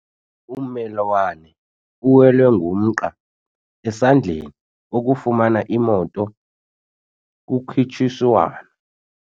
Ummelwane uwelwe ngumqa esandleni wokufumana imoto kukhutshiswano.